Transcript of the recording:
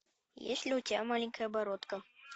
есть ли у тебя маленькая бородка